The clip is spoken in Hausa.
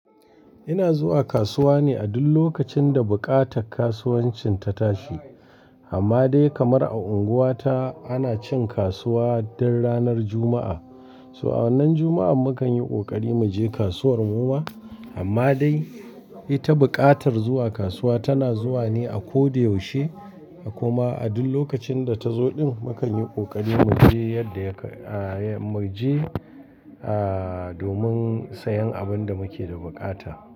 Ina zuwa kasuwa ne a duk lokacin da buƙatar kasuwancin ta tashi. Amma dai kamar a unguwata ana cin kasuwa duk ranar Juma'a. So! A wannan Juma'a mukan yi ƙoƙari mu je kasuwar mu ma. Amma dai, ita buƙatar zuwa kasuwa tana zuwa ne a ko da yaushe. Kuma a duk lokacin da ta zo ɗin mukan yi ƙoƙari mu je yadda ya ka, mu je aa domin sayen abin da muke da buƙata.